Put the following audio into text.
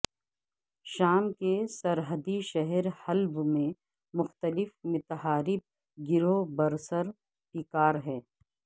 شام کے سرحدی شہر حلب میں مختلف متحارب گروہ برسر پیکار ہیں